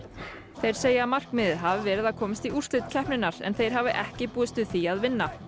þeir segja að markmiðið hafi verið að komast í úrslit keppninnar en þeir hafi ekki búist við því að vinna